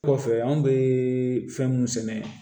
Kɔfɛ an bɛ fɛn mun sɛnɛ